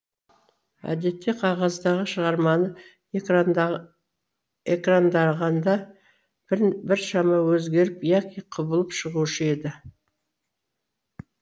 әдетте қағаздағы шығарманы экрандағанда біршама өзгеріп яки құбылып шығушы еді